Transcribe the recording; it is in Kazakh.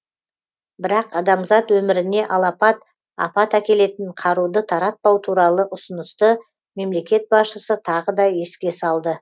бірақ адамзат өміріне алапат апат әкелетін қаруды таратпау туралы ұсынысты мемлекет басшысы тағы да еске салды